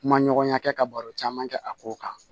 Kuma ɲɔgɔnya kɛ ka baro caman kɛ a ko kan